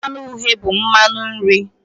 Mmanu uhie bụ mmanụ nri.